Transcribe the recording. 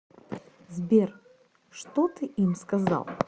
сбер что ты им сказал